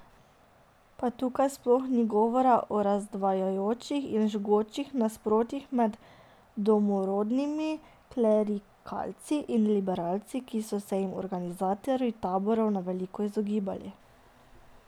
Pa tukaj sploh ni govor o razdvajajočih in žgočih nasprotjih med domorodnimi klerikalci in liberalci, ki so se jim organizatorji taborov na veliko izogibali.